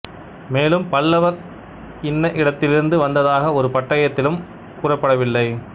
மேலும் பல்லவர் இன்ன இடத்திலிருந்து வந்ததாக ஒரு பட்டயத்திலும் கூறப்படவில்லை